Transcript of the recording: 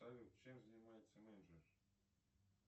салют чем занимается менеджер